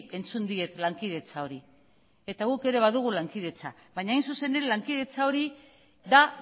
entzun diet lankidetza hori eta guk ere badugu lankidetza baina hain zuzen ere lankidetza hori da